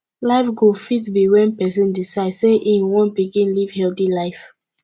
life goal fit be when person decide sey im wan begin live healthy life